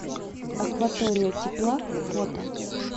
акватория тепла фото